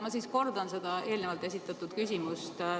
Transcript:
Ma siis kordan seda eelnevalt esitatud küsimust.